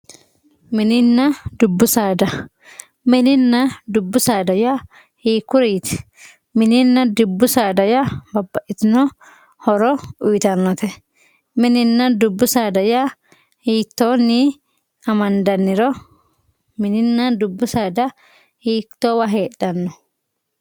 mininna dubbu saada mininna dubbu saada yaa hiikkuriiti mininna dubbu saada yaa babbaxxitino horo uyiitannote mininna dubbu saada yaa hiittoonni amandanniro mininna dubbu saada hiittoowa heedhanno